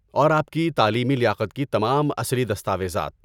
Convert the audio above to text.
اور آپ کی تعلیمی لیاقت کی تمام اصلی دستاویزات۔